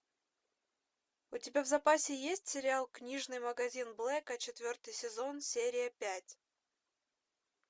у тебя в запасе есть сериал книжный магазин блэка четвертый сезон серия пять